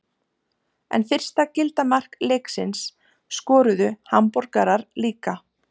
En fyrsta gilda mark leiksins skoruðu Hamborgarar líka.